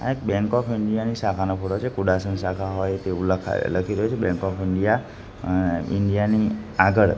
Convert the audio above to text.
આ એક bank of India ની શાખાનો ફોટો છે કુડાસન શાખા હોય તેવુ લખા લખી રહ્યુ છે બેંક ઑફ ઈન્ડિયા ઇન્ડિયા ની આગળ--